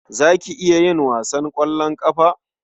Za ki iya yin wasan ƙwallon ƙafa?